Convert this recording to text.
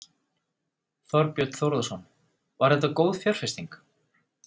Þorbjörn Þórðarson: Var þetta góð fjárfesting?